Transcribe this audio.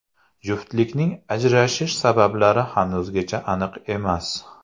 Juftlikning ajrashish sabablari hanuzgacha aniq emas.